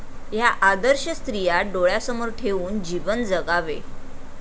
ह्या आदर्श स्त्रिया डोळ्यासमोर ठेवून जीवन जगावे.